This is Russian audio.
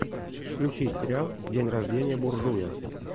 включи сериал день рождения буржуя